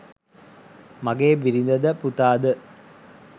මගේ බිරිඳ ද පුතා ද